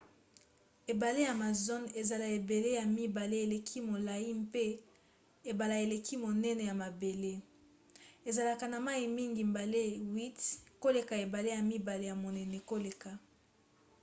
ebale amazon eza ebale ya mibale eleki molai mpe ebale eleki monene na mabele. ezalaka na mai mingi mbala 8 koleka ebale ya mibale ya monene koleka